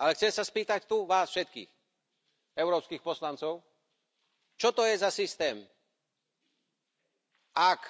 Ale chcem sa spýtať tu vás všetkých európskych poslancov, čo to je za systém, ak